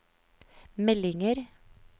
meldinger